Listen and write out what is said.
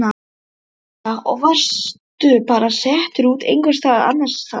Linda: Og varstu bara settur út einhvers staðar annars staðar?